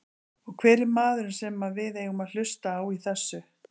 Og hver er maðurinn sem að við eigum að hlusta á í þessu?